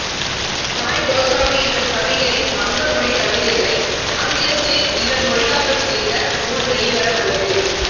Joy Goswami என்னும் கவிஞரின் வங்க மொழிக் கவிதைகளை ஆங்கிலத்தில் இவர் மொழியாக்கம் செய்த நூல் வெளிவர உள்ளது